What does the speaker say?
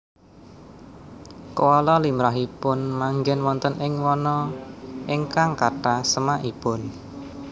Koala limrahipun manggén wonten ing wana ingkang kathah semakipun